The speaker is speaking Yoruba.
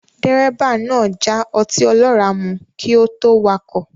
Dírẹ́bà náà já ọtí ọlọ́rà mu kí ó tó wakọ̀